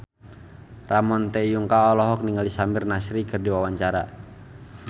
Ramon T. Yungka olohok ningali Samir Nasri keur diwawancara